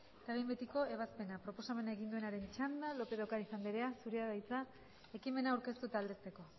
eta behin betiko ebazpena